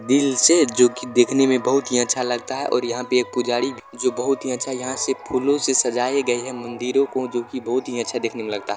दिल से जो कि देखने में बहुत ही अच्छा लगता है और यहां पे एक पुजारी जो बहुत ही अच्छा यहां से फूलो से सजाए गए है मंदिरों को जो कि बहुत ही अच्छा देखने में लगता है।